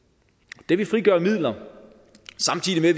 det vil frigøre midler samtidig